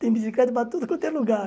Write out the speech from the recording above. Tem bicicleta para tudo quanto é lugar.